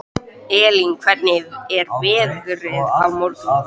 Elínbet, hvernig er veðrið á morgun?